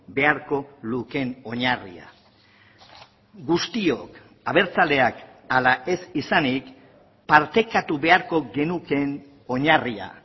beharko lukeen oinarria guztiok abertzaleak ala ez izanik partekatu beharko genukeen oinarria